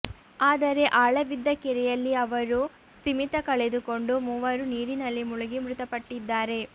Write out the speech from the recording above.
ಆದರೆ ಆಳವಿದ್ದ ಕೆರೆಯಲ್ಲಿ ಅವರೂ ಸ್ಥಿಮಿತ ಕಳೆದುಕೊಂಡು ಮೂವರೂ ನೀರಿನಲ್ಲಿ ಮುಳುಗಿ ಮೃತಪಟ್ಟಿದ್ದಾರೆ